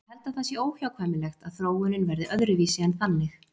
Ég held að það sé óhjákvæmilegt að þróunin verði öðruvísi en þannig.